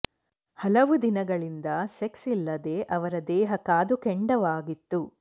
ಹಲವು ದಿನಗಳಿಂದ ಸೆಕ್ಸ್ ಇಲ್ಲದೆ ಅವರ ದೇಹ ಕಾದು ಕೆಂಡವಾಗಿತ್ತು